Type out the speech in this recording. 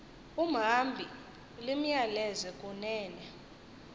umhambi limyaleze kunene